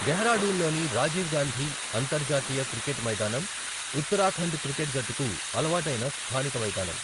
డెహ్రాడూన్లోని రాజీవ్ గాంధీ అంతర్జాతీయ క్రికెట్ మైదానం ఉత్తరాఖండ్ క్రికెట్ జట్టుకు అలవాటైన స్థానిక మైదానం.